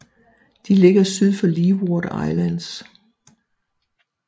De ligger syd for Leeward Islands